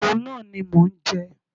Òun náà ni mò ń jẹ.